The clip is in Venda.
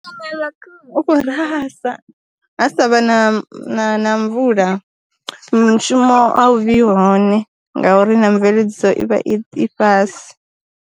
U kho rasa, ha sa vha na mvula, mushumo a u vhi hone ngauri na mveledziso i vha i fhasi.